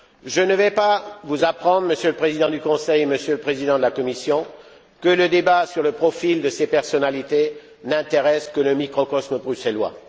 Je ne vais pas vous apprendre, Monsieur le Président du Conseil et Monsieur le Président de la Commission, que le débat sur le profil de ces personnalités n'intéresse que le microcosme bruxellois.